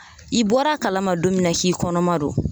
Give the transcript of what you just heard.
I bɔr'a kalama don min na k'i kɔnɔma don